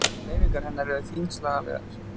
Hreyfingar hennar eru þyngslalegar.